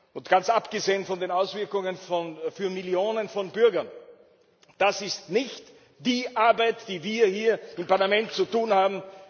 Und ganz abgesehen von den Auswirkungen für Millionen von Bürgern ist das nicht die Arbeit, die wir hier im Parlament zu tun haben.